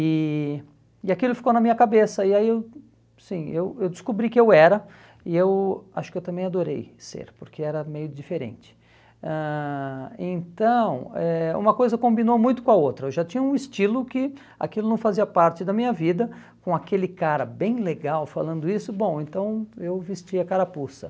e e aquilo ficou na minha cabeça e aí eu assim eu eu descobri que eu era e eu acho que eu também adorei ser porque era meio diferente ãh então é uma coisa combinou muito com a outra, eu já tinha um estilo que aquilo não fazia parte da minha vida com aquele cara bem legal falando isso bom então eu vesti a carapuça